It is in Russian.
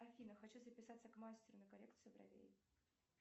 афина хочу записаться к мастеру на коррекцию бровей